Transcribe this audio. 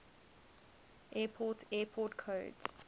airport airport codes